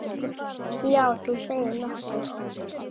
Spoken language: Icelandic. Já, þú segir nokkuð.